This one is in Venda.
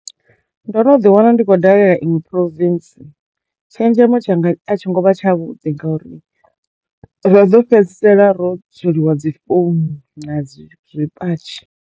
Ndo no ḓi wana ndi khou dalela iṅwe province tshenzhemo tshanga a tsho ngo vha tsha vhuḓi ngauri ro do fhedzisela ro tsweliwa dzi founu na dzi zwipatshi.